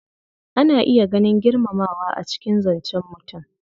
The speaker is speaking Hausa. Ana iya ganin girmamawa a cikin zancen mutum.